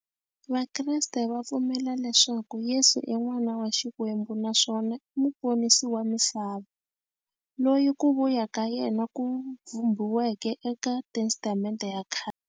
Vakreste va pfumela leswaku Yesu i n'wana wa Xikwembu naswona i muponisi wa misava, loyi ku vuya ka yena ku vhumbiweke eka Testamente ya khale.